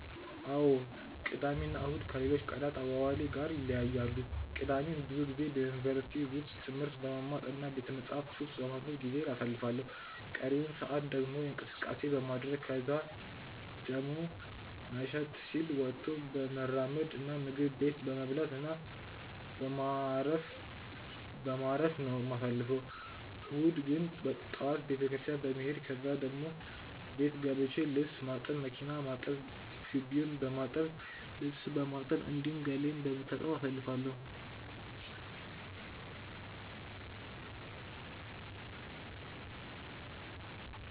አዎ ቅዳሜ እና እሁድ ከሌሎች ቀናት አዋዋሌ ጋር ይለያያሉ። ቅዳሜን ብዙ ጊዜ በዩኒቨርሲቲ ውስጥ ትምህርት በመማር እና ቤተመጻሕፍት ውስጥ በማንበብ ጊዜዬን አሳልፋለሁ ቀሪውን ሰአት ደግሞ እንቅስቀሴ በማድረረግ ከዛን ደሞ መሸት ሲል ወጥቶ በመራመድ እና ምግብ ቤት በመብላት እና በማረፍ በማረፍ ነው የማሳልፈው። እሁድን ግን ጠዋት ቤተክርስትያን በመሄድ ከዛን መልስ ደሞ ቤት ገብቼ ልብስ ማጠብ፣ መኪና ማጠብ፣ ግቢውን በማጠብ፣ ልብስ በማጠብ፣ እንዲሁም ገላዬን በመታጠብ አሳልፋለሁ።